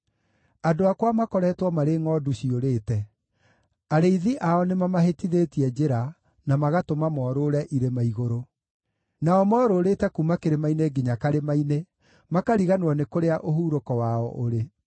“Andũ akwa makoretwo marĩ ngʼondu ciũrĩte; arĩithi ao nĩmamahĩtithĩtie njĩra, na magatũma morũũre irĩma igũrũ. Nao morũũrĩte kuuma kĩrĩma-inĩ nginya karĩma-inĩ, makariganĩrwo nĩ kũrĩa ũhurũko wao ũrĩ.